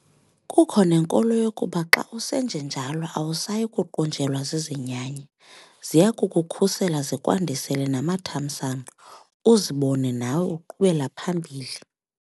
Kukho nenkolo yokuba xa usenjenjalo awusayi kuqunjelwa zizinyanya. ziya kukukhusela zikwandisele namathamsanqa uzibone nawe uqhubela phambili.